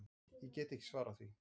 Ég get ekki svarað því.